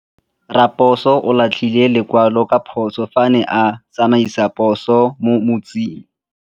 Raposo o latlhie lekwalô ka phosô fa a ne a tsamaisa poso mo motseng.